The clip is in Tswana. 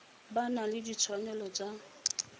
ba na le ditshwanelo tsa